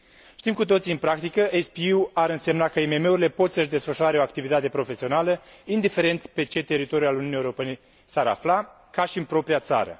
Știm cu toții, în practică, că SPE urile ar însemna că IMM urile pot să și desfășoare o activitate profesională, indiferent pe ce teritoriu al Uniunii Europene s ar afla, ca și în propria țară.